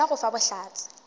ga yona go fa bohlatse